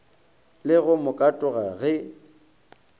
le go mo katoga ge